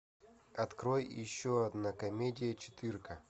открой еще одна комедия четырка